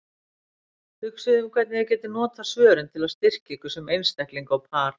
Hugsið um hvernig þið getið notað svörin til að styrkja ykkur sem einstaklinga og par.